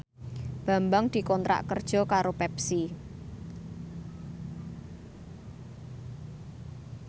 Bambang dikontrak kerja karo Pepsi